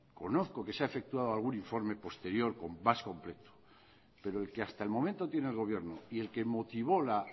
conozco que se ha efectuado algún informe posterior más completo pero el que hasta el momento tiene el gobierno y el que motivó la